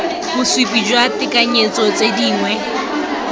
bosupi jwa tekanyetso tse dingwe